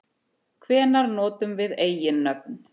Hvenær notum við eiginnöfn?